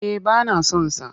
Eh ba na son sa.